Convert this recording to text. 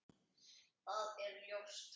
Það er ljóst.